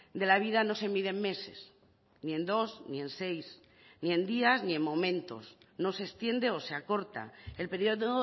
de la vida no se mide en meses ni en dos ni en seis ni en días ni en momentos no se extiende o se acorta el periodo